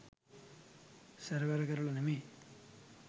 සැරවැර කරලා නෙමෙයි